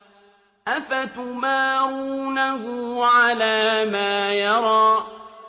أَفَتُمَارُونَهُ عَلَىٰ مَا يَرَىٰ